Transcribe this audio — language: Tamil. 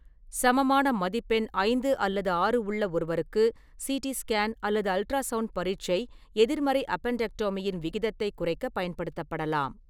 சமமான மதிப்பெண் ஐந்து அல்லது ஆறு உள்ள ஒருவருக்கு, சிடி ஸ்கேன் அல்லது அல்ட்ராசவுண்ட் பரீட்சை எதிர்மறை அப்பென்டெக்டோமியின் விகிதத்தைக் குறைக்கப் பயன்படுத்தப்படலாம்.